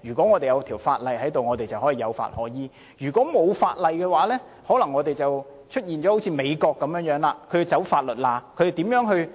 如果有法例，我們便有法可依；如果沒有法例，香港便可能會像美國般，要鑽法律空子。